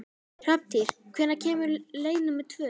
Hrafntýr, hvenær kemur leið númer tvö?